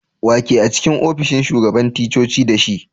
Wa ke a'cikin ofishin shugaban ticcoci da shi?